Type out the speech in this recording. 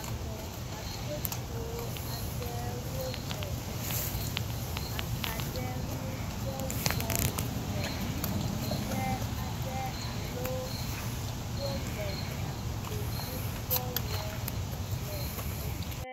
Ame hatsotso aɖewo le akaɖi ŋudɔ wɔm le teƒe aɖe alo wo le gakpo ŋudɔ wɔm le teƒe